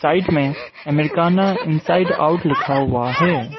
Right में Americana inside out लिखा हुआ है।